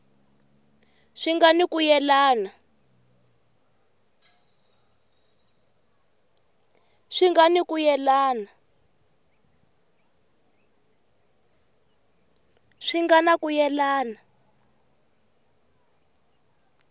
swi nga ni ku yelana